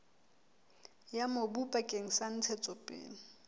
ya mobu bakeng sa ntshetsopele